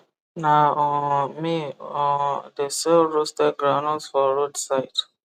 na um me um de sell roasted groundnut for road side